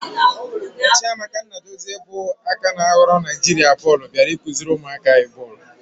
Chiamaka Nnadozie bụ aka ná ghọrọ Naijiria bọọlụ bịara ịkụziri ụmụaka anyị bọọlụ.